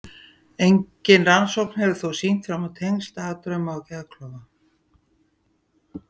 Engin rannsókn hefur þó sýnt fram á tengsl dagdrauma og geðklofa.